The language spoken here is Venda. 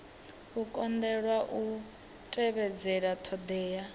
u kundelwa u tevhedzela ṱhoḓea